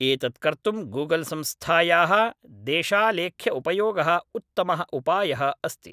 एतत् कर्तुं गूगल्‌संस्थायाः देशालेख्यउपयोगः उत्तमः उपायः अस्ति